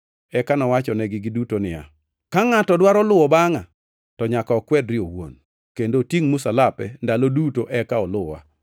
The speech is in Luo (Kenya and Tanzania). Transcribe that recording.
Eka nowachonegi duto niya, “Ka ngʼato dwaro luwo bangʼa, to nyaka okwedre owuon kendo otingʼ msalape ndalo duto eka oluwa.